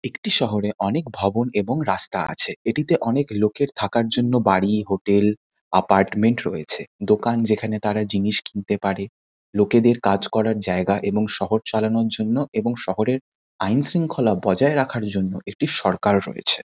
একটি শহরে অনেক ভবন এবং রাস্তা আছে। এটিতে অনেক লোকের থাকার জন্য বাড়ি হোটেল অ্যাপার্টমেন্ট রয়েছে। দোকান যেখানে তারা জিনিস কিনতে পারে। লোকেদের কাজ করার জায়গা এবং শহর চালানোর জন্য এবং শহরের আইন শৃঙ্খলা বজায় রাখার জন্য এটির সরকার রয়েছে।